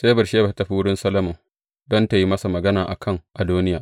Sai Batsheba ta tafi wurin Sarki Solomon don tă yi masa magana a kan Adoniya.